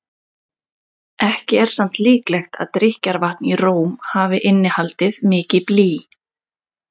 Ekki er samt líklegt að drykkjarvatn í Róm hafi innihaldið mikið blý.